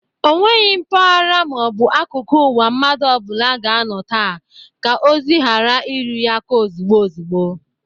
Onweghi mpaghara ma ọ bụ akuku uwa mmadụ ọbụla ga-anọ taa ka ozi ghara iru ya aka ozugbo ozugbo.